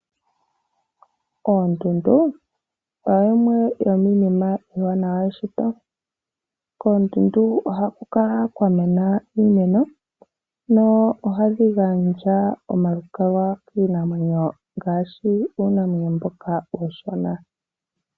Oondundu oyo yimwe yomiinima iiwanawa yeshito. Koondundu oha kukala kwamena iimeno nohadhi gandja omalukalwa kiinamwenyo ngaashi uunamwenyo mboka uushona.